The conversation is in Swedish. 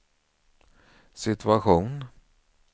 situation